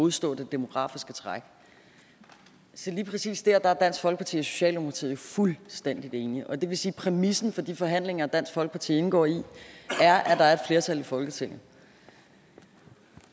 modstå det demografiske træk så lige præcis der er dansk folkeparti og socialdemokratiet fuldstændig enige og det vil sige at præmissen for de forhandlinger dansk folkeparti indgår i er at der er et flertal i folketinget